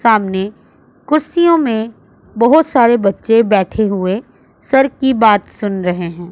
सामने कुर्सियों में बहोत सारे बच्चे बैठे हुए सर की बात सुन रहे है।